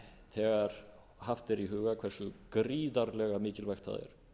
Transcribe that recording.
þegar haft er í huga hversu gríðarlega mikilvægt það er að